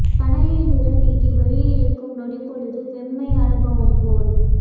தணலில் விரல் நீட்டி வெளி இழுக்கும் நொடிப்பொழுது வெம்மை அனுபவம் போல்